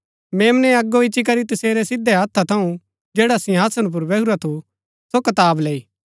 मेम्नै अगो इच्ची करी तसेरै सिधै हत्थै थऊँ जैडा सिंहासन पुर बैहुरा थू सो कताब लैई लैई